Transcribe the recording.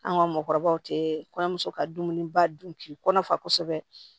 An ka mɔɔkɔrɔbaw tɛ kɔɲɔmuso ka dumuniba dun k'i kɔnɔ fa kosɛbɛ